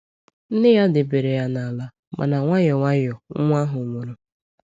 Nne ya debere ya n’ala, mana nwayọ nwayọ, nwa ahụ nwụrụ.